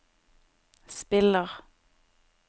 spiller